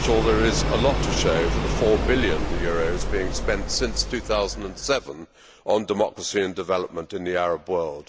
I am not sure there is a lot to show for the EUR 4 billion being spent since 2007 on democracy and development in the Arab world.